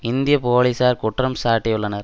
இந்திய போலீசார் குற்றம் சாட்டியுள்ளனர்